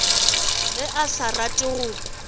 ge a sa rate go